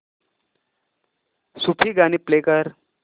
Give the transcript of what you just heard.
सूफी गाणी प्ले कर